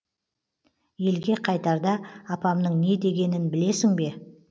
елге қайтарда апамның не дегенін білесің бе